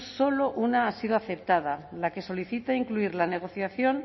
solo una ha sido aceptada la que solicita incluir la negociación